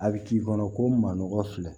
A bɛ k'i kɔnɔ ko manɔgɔ filɛ